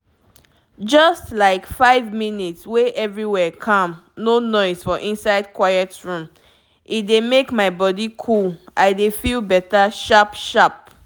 just like five minutes wey everywhere calm no noise for inside quiet room — e dey make my body cool i dey feel better sharp-sharp.